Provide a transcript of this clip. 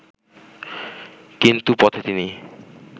কিন্তু পথে তিনি